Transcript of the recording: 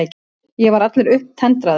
Ég var allur upptendraður.